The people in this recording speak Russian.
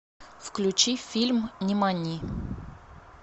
включи фильм нимани